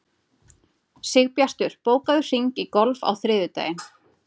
Sigbjartur, bókaðu hring í golf á þriðjudaginn.